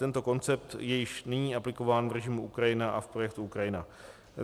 Tento koncept je již nyní aplikován v režimu Ukrajina a v projektu Ukrajina.